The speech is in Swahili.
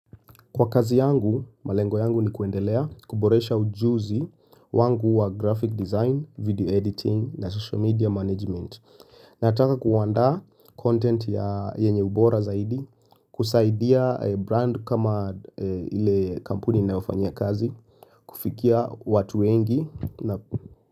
Kwa kazi yangu, malengo yangu ni kuendelea kuboresha ujuzi wangu wa graphic design, video editing na social media management. Nataka kuandaa content yenye ubora zaidi, kusaidia brand kama ile kampuni ninayofanyia kazi, kufikia watu wengi.